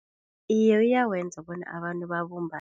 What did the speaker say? Iye, uyawenza bona abantu babumbane.